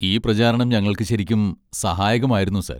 ഈ പ്രചാരണം ഞങ്ങൾക്ക് ശരിക്കും സഹായകമായിരുന്നു സർ.